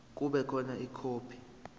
kube khona ikhophi